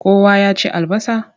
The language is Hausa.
Kowa ya ci albasa?